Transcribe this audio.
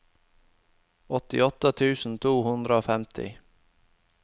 åttiåtte tusen to hundre og femti